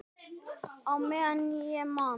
Á meðan ég man.